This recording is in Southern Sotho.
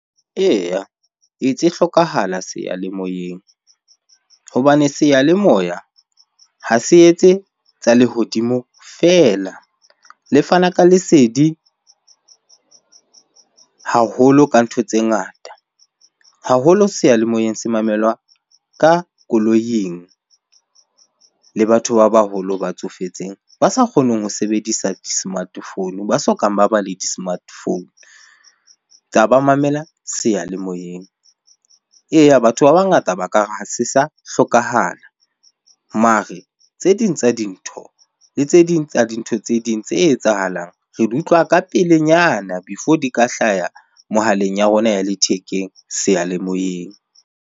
Eya, e tse hlokahala seyalemoyeng hobane seyalemoya ha se etse tsa lehodimo feela. Le fana ka lesedi haholo ka ntho tse ngata. Haholo seyalemoyeng se mamelwa ka koloing le batho ba baholo ba tsofetseng ba sa kgoneng ho sebedisa di-smart phone, ba sokang ba ba le di-smart phone ba mamela seyalemoyeng. Eya batho ba bangata ba ka re, ha se sa hlokahala. Mare tse ding tsa dintho le tse ding tsa dintho tse ding tse etsahalang re di utlwa ka pelenyana before di ka hlaya mohaleng ya rona ya lethekeng seyalemoyeng.